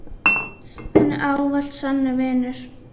Hún var ávallt sannur vinur.